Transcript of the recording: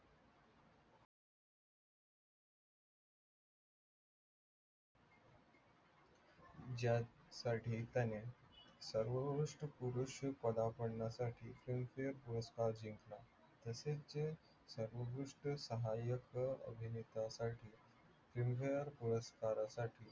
ज्यासाठी त्याने सर्वोत्कृष्ट पुरुष पदार्पणासाठी पुरस्कार जिंकला, तसेच सर्वोत्कृष्ट सहाय्यक अभिनेतासाठी, singer पुरस्कारासाठी